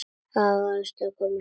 Að hamast svona.